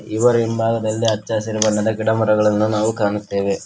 ಇವರ ಹಿಂಭಾಗದಲ್ಲಿ ಹಚ್ಚ ಹಸಿರು ಬಣ್ಣದ ಗಿಡಮರಗಳನ್ನು ನಾವು ಕಾಣುತ್ತೆವೆ.